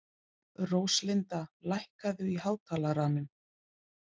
Róslinda, lækkaðu í hátalaranum.